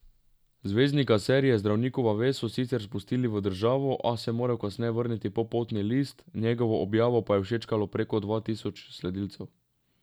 Zvezdnika serije Zdravnikova vest so sicer spustili v državo, a se je moral kasneje vrniti po potni list, njegovo objavo pa je všečkalo preko dva tisoč sledilcev.